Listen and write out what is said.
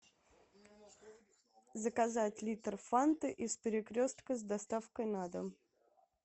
заказать литр фанты из перекрестка с доставкой на дом